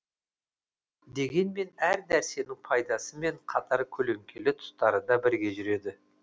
дегенмен әр нәрсенің пайдасымен қатар көлеңкелі тұстары да бірге жүреді